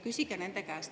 Küsige nende käest.